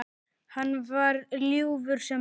Hann var ljúfur sem lamb.